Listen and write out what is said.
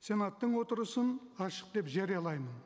сенаттың отырысын ашық деп жариялаймын